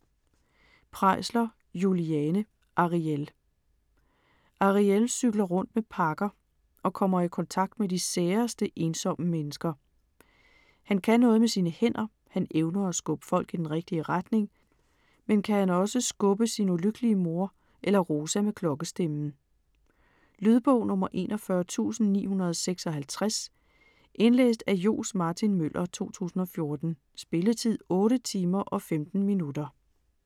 Preisler, Juliane: Arièl Ariél cykler rundt med pakker og kommer i kontakt med de særeste, ensomme mennesker. Han kan noget med sine hænder: han evner at skubbe folk i den rigtige retning. Men kan han også skubbe sin ulykkelige mor eller Rosa med klokkestemmen? Lydbog 41956 Indlæst af Johs. Martin Møller, 2014. Spilletid: 8 timer, 15 minutter.